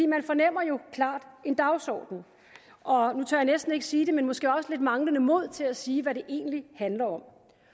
man fornemmer jo klart en dagsorden og nu tør jeg næsten ikke sige det men måske også lidt manglende mod til at sige hvad det egentlig handler om